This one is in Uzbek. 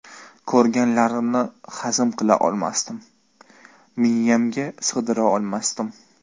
Ko‘rganlarimni hazm qila olmasdim, miyamga sig‘dira olmasdim.